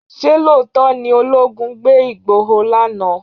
Ṣé lóòótọ́ ni olóogun gbé Igboho lánàá?